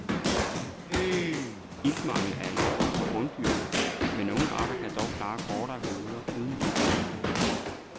Iltmangel er alvorlig for bunddyrene, men nogle arter kan dog klare kortere perioder uden ilt.